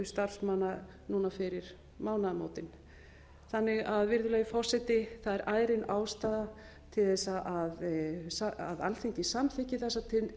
starfsmanna núna fyrir mánaðamótin það er því virðulegi forseti ærin ástæða til þess að alþingi samþykki þessa